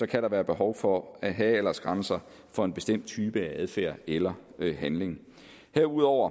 kan være behov for at have aldersgrænser for en bestemt type af adfærd eller handling herudover